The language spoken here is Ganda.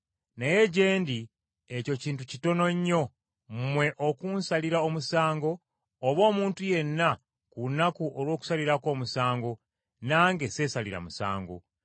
Naye gye ndi ekyo kintu kitono nnyo mmwe okunsalira omusango oba omuntu yenna ku lunaku olw’okusalirako omusango; nange sseesalira musango.